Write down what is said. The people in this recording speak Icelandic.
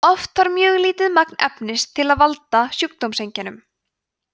oft þarf mjög lítið magn efnisins til að valda sjúkdómseinkennum